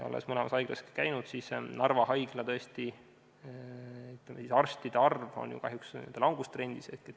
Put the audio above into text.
Olles mõlemas haiglas ka ise käinud, tean, et Narva haigla arstide arv on kahjuks tõesti langustrendis.